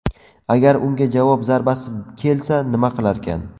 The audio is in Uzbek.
Agar unga javob zarbasi kelsa nima qilarkan?